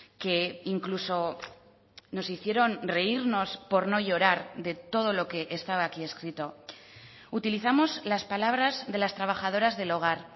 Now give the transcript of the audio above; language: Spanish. que incluso nos hicieron reírnos por no llorar de todo lo que estaba aquí escrito utilizamos las palabras de las trabajadoras del hogar